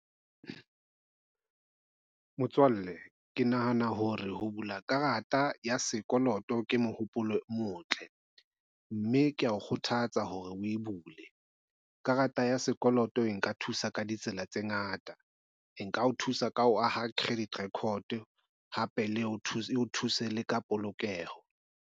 Motswalle, ke nahana hore ho bula karata ya sekoloto ke mohopolo o motle, mme kea o kgothatsa hore o e bule. Karata ya sekoloto e nka thusa ka ditsela tse ngata. E nka o thusa ka ho aha credit record hape le e o thuse le ka polokeho.